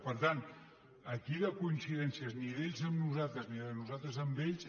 per tant aquí de coincidències ni d’ells amb nosaltres ni de nosaltres amb ells